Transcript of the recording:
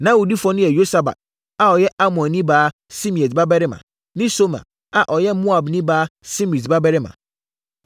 Na awudifoɔ no yɛ Yosabat a ɔyɛ Amonni baa Simeat babarima, ne Somer a ɔyɛ Moabni baa Simrit babarima.